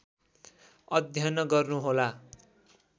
अध्ययन गर्नुहोला